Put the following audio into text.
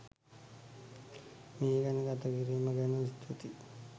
මේ ගැන ගත කිරීම ගැන ස්තුතියි